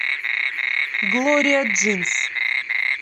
глория джинс